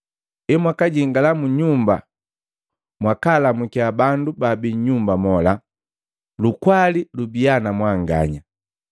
Emwakajingala mu nyumba mwakalamukiya bandu babii nyumba mola, ‘Lukwali lubia na mwanganya.’